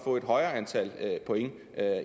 få et højere antal point